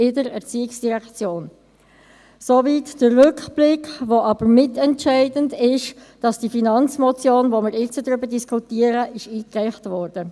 Soweit der Rückblick, der aber mitentscheidend dafür ist, dass die Finanzmotion, über die wir jetzt diskutieren, eingereicht wurde.